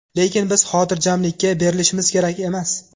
Lekin biz xotirjamlikka berilishimiz kerak emas.